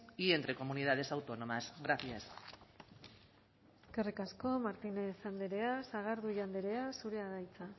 y entre comunidades autónomas gracias eskerrik asko martínez andrea sagardui andrea zurea da hitza